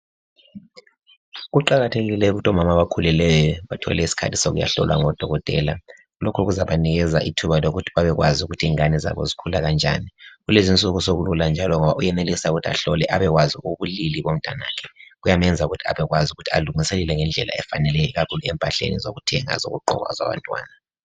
Kuqakathekile ukuthi omama abakhulelweyo bathole isikhathi sokuyahlolwa ngodokotela. Lokhu kuzabanika ithuba lokuthi babekwazi ukuthi ingane zabo zikhula njani. Kulezinsuku sekulula njalo ngoba uyenelisa ukuthi ahlole abekwazi ubulili bomntanakhe. Kuyamenza ukuthi abekwazi ukuthi alungiselele ngendlela efaneleyo ikakhulu empahleni zokuthenga ezokugqoka ezabantwana.